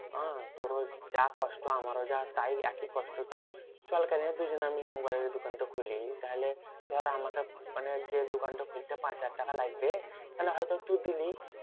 আহ তোরও যা কষ্ট আমারও যা তাই একই কষ্ট। তা চল কেনে দুজনে মিলে দোকান টো খুলি। তাহলে ধর আমাকে মানে যে দোকান টো খুলতে পাঁচ হাজার টাকা লাগবে। তাহলে হয়তো তু দিলি